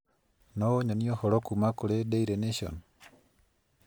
no ũnyonie ũhoro kuuma kũrĩ Daily Nation